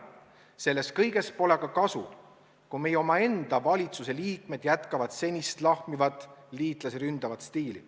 Sellest kõigest pole aga kasu, kui meie enda valitsuse liikmed kasutavad edaspidigi senist lahmivat liitlasi ründavat stiili.